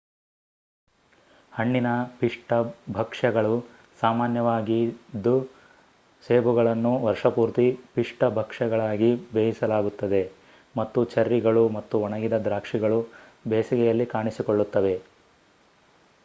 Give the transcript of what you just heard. ಹಣ್ಣಿನ ಪಿಷ್ಟ ಭಕ್ಷ್ಯಗಳು ಸಾಮಾನ್ಯವಾಗಿದ್ದು ಸೇಬುಗಳನ್ನು ವರ್ಷಪೂರ್ತಿ ಪಿಷ್ಟ ಭಕ್ಷ್ಯಗಳಾಗಿ ಬೇಯಿಸಲಾಗುತ್ತದೆ ಮತ್ತು ಚೆರ್ರಿಗಳು ಮತ್ತು ಒಣಗಿದ ದಾಕ್ಷಿಗಳು ಬೇಸಿಗೆಯಲ್ಲಿ ಕಾಣಿಸಿಕೊಳ್ಳುತ್ತವೆ